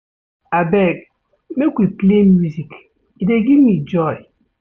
Abeg, make we play music, e dey give me joy.